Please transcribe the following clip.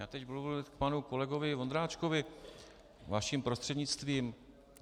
Já teď budu mluvit k panu kolegovi Vondráčkovi vaším prostřednictvím.